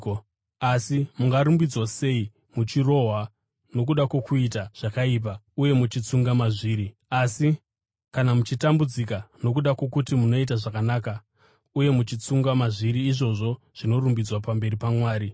Asi mungarumbidzwa sei kana muchirohwa nokuda kwokuita zvakaipa uye muchitsunga mazviri? Asi kana muchitambudzika nokuda kwokuti munoita zvakanaka uye muchitsunga mazviri, izvozvo zvinorumbidzwa pamberi paMwari.